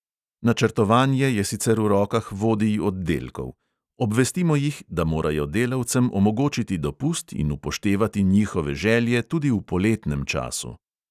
Načrtovanje je sicer v rokah vodij oddelkov: "obvestimo jih, da morajo delavcem omogočiti dopust, in upoštevati njihove želje tudi v poletnem času."